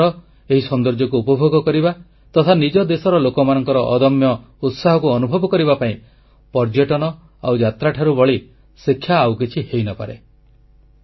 ନିଜ ଦେଶର ଏହି ସୌନ୍ଦର୍ଯ୍ୟକୁ ଉପଭୋଗ କରିବା ତଥା ନିଜ ଦେଶର ଲୋକମାନଙ୍କର ଅଦମ୍ୟ ଉତ୍ସାହକୁ ଅନୁଭବ କରିବା ପାଇଁ ପର୍ଯ୍ୟଟନ ଆଉ ଯାତ୍ରାଠାରୁ ବଳି ଶିକ୍ଷା ଆଉ କିଛି ହୋଇନପାରେ